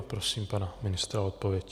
A prosím pana ministra o odpověď.